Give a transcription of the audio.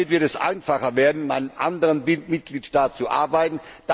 Damit wird es einfacher werden, in einem anderen Mitgliedstaat zu arbeiten.